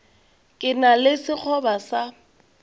ke na le sekgoba sa